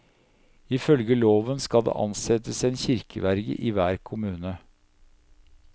Ifølge loven skal det ansettes en kirkeverge i hver kommune.